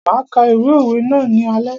Máa ka ìwé òwe ná ní alé.